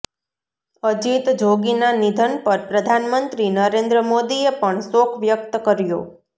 અજીત જોગીના નિધન પર પ્રધાનમંત્રી નરેન્દ્ર મોદીએ પણ શોક વ્યક્ત કર્યો